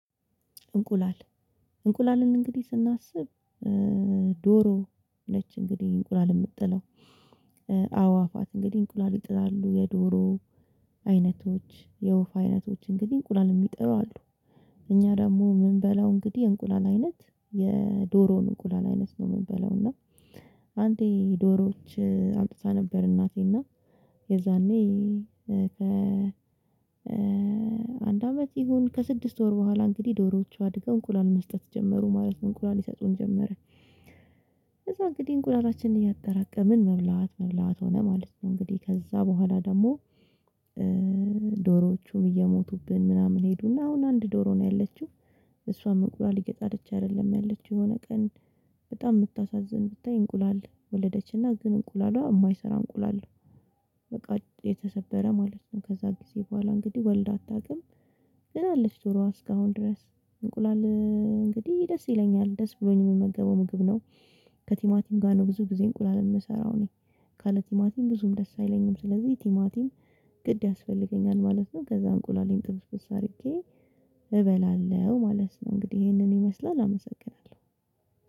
እንቁላል እንቁላልን እንግዲህ ስናስብ። ዶሮ ነች እንግዲህ እንቁላል የምትጥለው አዋፋት እንግዲህ እንቁላል ይጥላሉ የዶሮ አይነቶች የወፍ አይነቶች እንግዲህ እንቁላል የሚጠሉ አሉ። እኛ ደግሞ የምንበላው እንግዲህ የእንቁላል አይነት የዶሮን እንቁላል አይነት ነው የምንበለው እና አንዴ ዶሮዎች አምጥታ ነበር። እናቴ እና የዛኔ ከ አንድ አመት ይሁን ከስድስት ወር በኋላ እንግዲህ ዶሮዎቹ አድገው እንቁላል መስጠት ጀመሩ ማለት እንቁላል ይሰጡን ጀመረ። ከዛ እንግዲህ እንቁላላችንን እያጠራቀምን መብላት መብላት ሆነ ማለት ነው። እንግዲህ ከዛ በኋላ ደግሞ ዶሮዎቹም እየሞቱብን ምናምን ሄዱና አሁን አንድ ዶሮ ነው ያለችው። እሷ እንቁላል እየጣለች አይደለም ያለችው የሆነ ቀን በጣም የምታሳዝን ብታይ እንቁላል ወለደችና ግን እንቁላሏ የማይሰራ እንቁላል ነው። በቃ የተሰበረ ማለት ነው። ከዛ ጊዜ በኋላ እንግዲህ ወልድ አታውቅም። ግን አለች ዶሮ እስከአሁን ድረስ እንቁላል እንግዲህ ደስ ይለኛል ደስ ብሎኝ የምመገበው ምግብ ነው። ከቲማቲም ጋር ነው ብዙ ጊዜ እንቁላል የምሰራው እኔ ካለ ቲማቲም ብዙም ደስ አይለኝም። ስለዚህ ቲማቲም ግድ ያስፈልገኛል ማለት ነው። ከዛ እንቁላሌን ጥብስብስ አድርጌ እበላለሁ ማለት ነው። እንግዲህ ይሄንን ይመስላል አመሰግናለሁ።